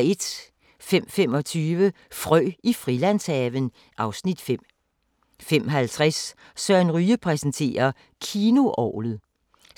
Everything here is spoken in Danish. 05:25: Frø i Frilandshaven (Afs. 5) 05:50: Søren Ryge præsenterer: Kinoorglet